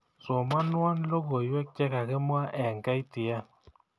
Somanwon logoywek chegagimwaa eng k.t.n